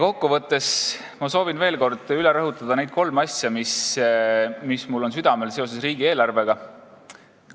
Kokku võttes ma soovin veel kord üle rõhutada neid kolme asja, mis mul seoses riigieelarvega südamel on.